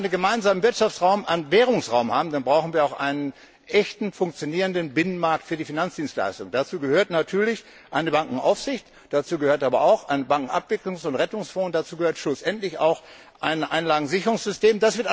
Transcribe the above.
Wenn wir einen gemeinsamen Wirtschaftsraum und Währungsraum haben, dann brauchen wir auch einen echten funktionierenden Binnenmarkt für die Finanzdienstleistungen. Dazu gehört natürlich eine Bankenaufsicht, dazu gehört aber auch ein Bankenabwicklungs und Rettungsfonds und dazu gehört schlussendlich auch ein Einlagensicherungssystem.